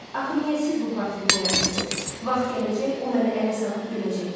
Axı niyə siz bu portreti yaratdınız? Vaxt gələcək, o məni ələ salıb güləcək.